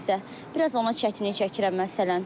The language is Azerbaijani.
Biraz ona çətinlik çəkirəm məsələn.